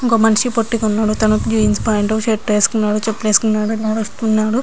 ఒక్క మనిషి పొట్టి గా ఉన్నాడు. జీన్స్ ప్యాంటు షర్ట్ వేసుకున్నాడు. చేలులు వేసుకున్నాడు నడుస్తున్నాడు.